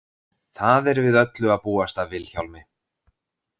Það er við öllu að búast af Vilhjálmi.